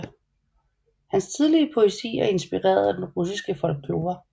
Hans tidlige poesi er inspireret af den russiske folklore